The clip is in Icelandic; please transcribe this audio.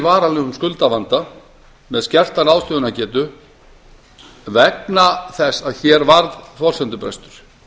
varanlegum skuldavanda með skerta ráðstöfunargetu vegna þess að hér varð forsendubrestur